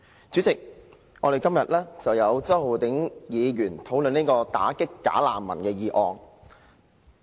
主席，周浩鼎議員今天提出討論"打擊'假難民'"的議案。